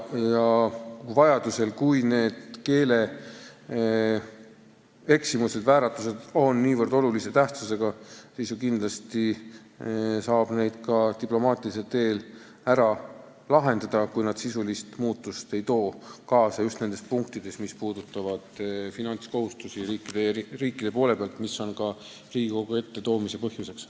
Vajadusel, kui need keeleeksimused, -vääratused on niivõrd olulise tähtsusega, siis saab need ju ka diplomaatilisel teel ära lahendada – juhul, kui see ei too kaasa sisulist muutust just nendes punktides, mis puudutavad riikide finantskohustusi, mis on ka selle leppe Riigikogu ette toomise põhjus.